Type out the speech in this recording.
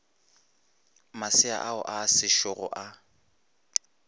masea ao a sešogo a